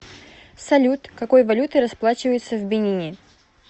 салют какой валютой расплачиваются в бенине